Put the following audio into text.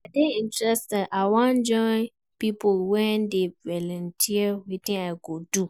I dey interested, I wan join pipo wey dey volunteer, wetin I go do?